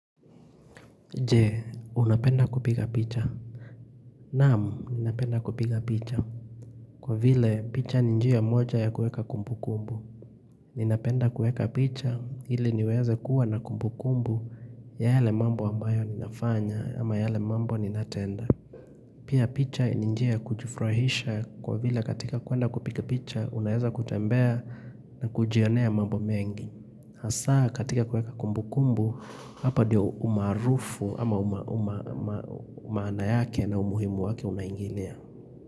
Jee, unapenda kupiga picha. Naam, napenda kupiga picha. Kwa vile, picha ni njia moja ya kuweka kumbu kumbu. Ninapenda kuweka picha, ili niweze kuwa na kumbu kumbu ya yale mambo ambayo ninafanya ama yale mambo ninatenda. Pia picha ni njia kujifurahisha kwa vile katika kwenda kupiga picha, unaweza kutembea na kujionea mambo mengi. Hasa katika kuweka kumbu kumbu hapa ndio umaarufu ama maana yake na umuhimu wake unaingilia.